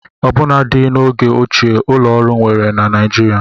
Ọbụnadị n'oge ochie ụlọ ọrụ enwere na Nigeria